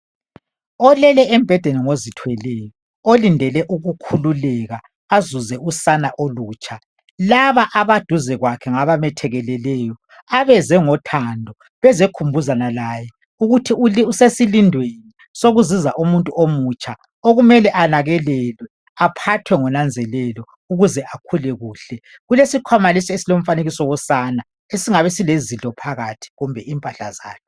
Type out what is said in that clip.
Olele embhedeni ngozithweleyo, olindele ukukhululeka, azuze usana olutsha. Laba abaduze kwakhe ngabamethekeleleyo, abeze ngothando, bezekhumbuzana laye, ukuthi uli usesilindweni sokuzuza umuntu omutsha, okumele anakelelwe aphathwe ngonanzelelo ukuze akhule kuhle. Kulesikhwana lesi esilomfanekiso wosana, esingabe sile zidlo phakathi, kumbe impahla zakhe.